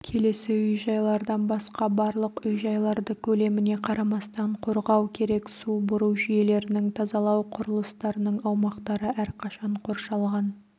келесі үй-жайлардан басқа барлық үй-жайларды көлеміне қарамастан қорғау керек су бұру жүйелерінің тазалау құрылыстарының аумақтары әрқашан қоршалған